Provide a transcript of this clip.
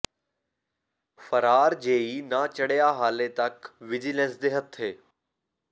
ਫਰਾਰ ਜੇਈ ਨਾ ਚੜਿ੍ਹਆ ਹਾਲੇ ਤੱਕ ਵਿਜੀਲੈਂਸ ਦੇ ਹੱਥੇ